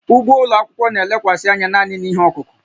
Ugbo ụlọ akwụkwọ na-elekwasị anya naanị na ihe ọkụkụ